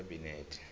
wekhabinethe